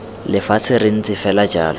lefatshe re ntse fela jalo